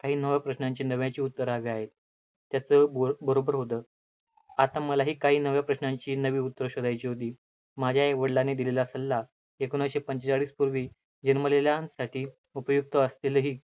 काही नव्या प्रश्नांची नव्याची उत्तरं हवी आहेत, तसं ब बरोबर होतं, आता मलाही काही नव्या प्रश्नांची नवी उत्तरं शोधायची होती. माझ्या आई वडिलांनी दिलेला सल्ला एकोणाविसशे पंचेचाळीस पूर्वी जन्मलेलासाठी उपयुक्त असतीलही